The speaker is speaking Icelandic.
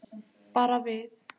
Bara við.